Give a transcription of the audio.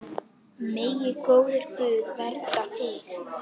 Megi góður Guð vernda þig.